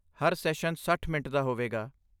ਹਰ session ਸੱਠ minute ਦਾ ਹੋਵੇਗਾ